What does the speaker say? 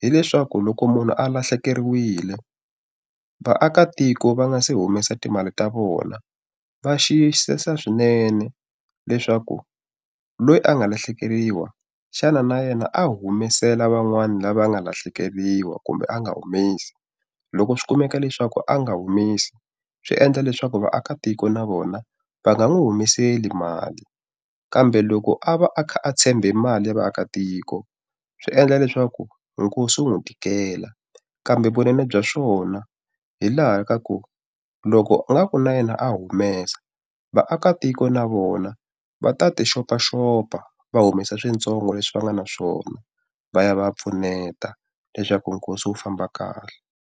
hileswaku loko munhu a lahlekeriwile, vaakatiko va nga se humesa timali ta vona va xiyisisa swinene leswaku loyi a nga lahlekeriwa, xana na yena a humesela van'wani lava nga lahlekeriwa kumbe a nga humesi? Loko swi kumeka leswaku a nga humesi, swi endla leswaku vaakatiko na vona va nga n'wi humeseli mali. Kambe loko a va a kha a tshembe mali ya vaakatiko, swi endla leswaku nkosi wu n'wi tikela. Kambe vunene bya swona hi laha ka ku, loko u nga ku na yena a humesa vaakatiko na vona va ta ti xopaxopa, va humesa swintsongo leswi va nga na swona, va ya va pfuneta leswaku nkosi u famba kahle.